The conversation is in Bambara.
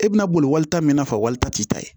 E bɛna boli walita mina ka walita t'i ta ye